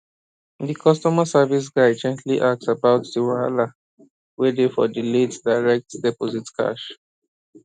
di customer service guy gently ask about di wahala wey dey for di late direct deposit cash